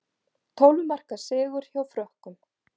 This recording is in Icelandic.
Tólf marka sigur á Frökkum